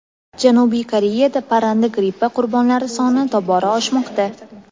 Janubiy Koreyada parranda grippi "qurbonlari" soni tobora oshmoqda.